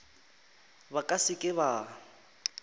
ba ka se ke ba